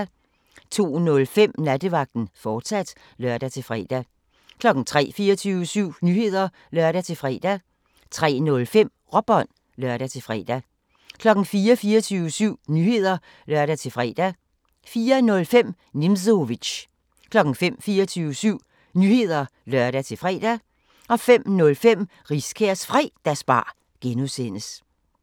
02:05: Nattevagten, fortsat (lør-fre) 03:00: 24syv Nyheder (lør-fre) 03:05: Råbånd (lør-fre) 04:00: 24syv Nyheder (lør-fre) 04:05: Nimzowitsch 05:00: 24syv Nyheder (lør-fre) 05:05: Riskærs Fredagsbar (G)